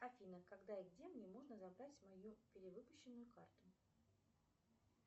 афина когда и где мне можно забрать мою перевыпущенную карту